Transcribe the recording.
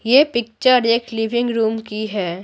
यह पिक्चर एक living room की है।